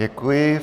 Děkuji.